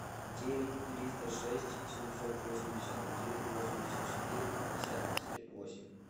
девять триста шесть семьсот восемьдесят один восемьдесят четыре пятьдесят восемь